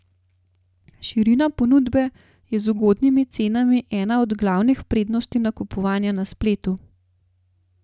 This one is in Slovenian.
Širina ponudbe je z ugodnimi cenami ena od glavnih prednosti nakupovanja na spletu.